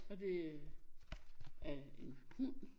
Og det er en hund